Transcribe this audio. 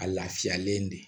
A lafiyalen de